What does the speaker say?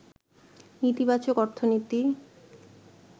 নীতিবাচক অর্থনীতি